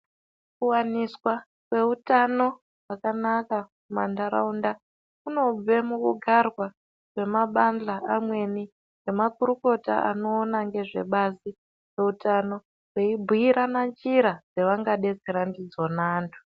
Kuwaniswa kweutano wakanaka mumandaraunda kunobve mukugarwa kwemabala amweni nemakurukota anoona ngezvebazi reutano veibhiirana njira dzavangadetsera ndidzo antu.